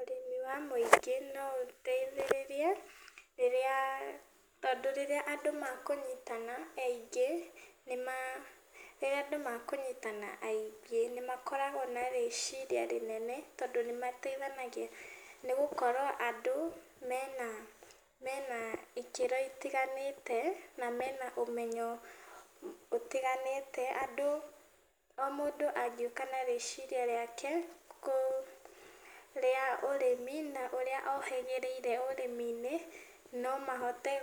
Ũrĩmi wa mũingĩ no ũteithĩrĩrie rĩrĩa, tondũ rĩrĩa andũ mekũnyitana aingĩ, rĩrĩa andũ mekũnyitana aingĩ nĩmakoragwo na rĩciria rĩnene, tondũ nĩmateithanagia nĩgũkorwo andũ mena, mena ikĩro itiganĩte na mena ũmenyo ũtiganĩte. Andũ, o mũndũ angĩũka na rĩciria rĩake rĩa ũrĩmi na ũríĩ ohĩgĩrĩire ũrĩmi-inĩ, no mahote